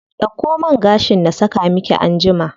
Dauko man gashin na saka miki anjima.